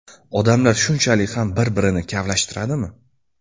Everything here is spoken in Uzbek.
Odamlar shunchalik ham bir-birini kavlashtiradimi?